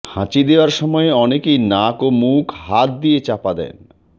হাঁচি দেওয়ার সময়ে অনেকেই নাক ও মুখ হাত দিয়ে চাপা দেন